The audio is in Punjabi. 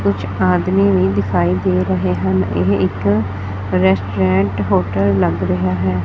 ਕੁਝ ਆਦਮੀ ਵੀ ਦਿਖਾਈ ਦੇ ਰਹੇ ਹਨ ਇਹ ਇੱਕ ਰੈਸਟੋਰੈਂਟ ਹੋਟਲ ਲੱਗ ਰਿਹਾ ਹੈ।